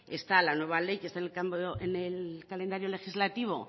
está la nueva ley que está en el calendario legislativo